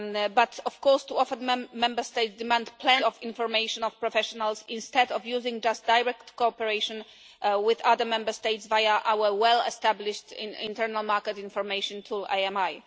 But of course, too often Member States demand plenty of information from professionals instead of just using direct cooperation with other Member States via our well established internal market information tool, IMI.